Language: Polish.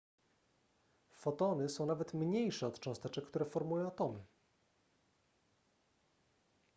fotony są nawet mniejsze od cząsteczek które formują atomy